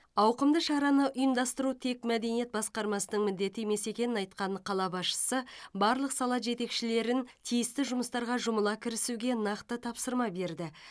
ауқымды шараны ұйымдастыру тек мәдениет басқармасының міндеті емес екенін айтқан қала басшысы барлық сала жетекшілерін тиісті жұмыстарға жұмыла кірісуге нақты тапсырма берді